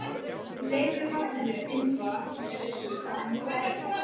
Leyfið barninu innra með ykkur að njóta sín.